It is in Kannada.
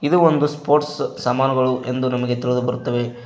ಇದು ಒಂದು ಸ್ಪೋರ್ಟ್ಸ್ ಸಾಮಾನುಗಳು ಎಂದು ನಮಗೆ ತಿಳಿದು ಬರುತ್ತವೆ.